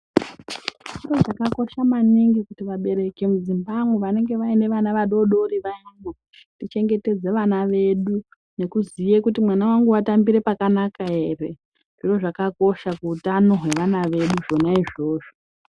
Chiro chakakosha maningi kuti vabereki mudzimbamwo vanenge vaine vana vadoodori wayani tichengetedze vana vedu nekuziye kuti mwana wangu watambire pakanaka ere. Zviro zvakakosha kuutano hwevana wedu zvona izvozvo.